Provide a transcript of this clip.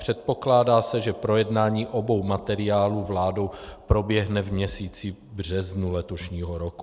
Předpokládá se, že projednání obou materiálů vládou proběhne v měsíci březnu letošního roku.